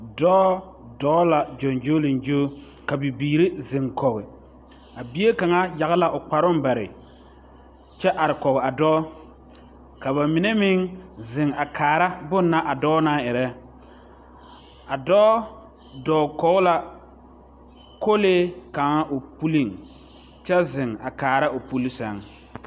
Zɔɔ dɔɔ la gyoŋgyoliŋgyo ka bibiiri zeŋkɔge a bie kaŋa yage la kparoŋ bare kyɛ are kɔge a dɔɔ ka bamine meŋ zeŋ a kaara bonna a dɔɔ naŋ erɛ a dɔɔ dɔɔ kɔge la kolee kaŋ o puliŋ kyɛ zeŋ a kaaraa o puli sɛŋ.